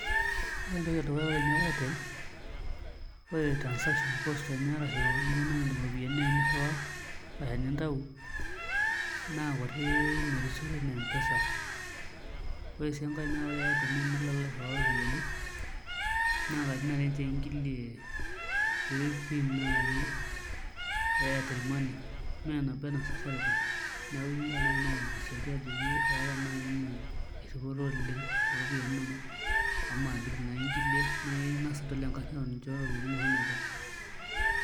Ore entoki edukuya ore airtel ore transaction cost enye ashu endungoto nadung iropiyiani na eniriwaa ashu enintau na kuti merisore ne mpesa ore si airtel na tenilo alo airiwaa ropiyani na katitin are pingilie pin airtel money me nabo ana airtel money neaku kingira nai ina aikikishaki ajoki eeta nai ena eeta nai nye eripoto oleng toropiyani inonok amu mara mbili na ingilieningasa adol enkarna atan ituncho ropiyani meshomoita.